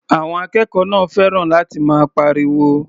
Àwọn akẹ́kọ̀ọ́ náà fẹ́ràn láti máa pariwo.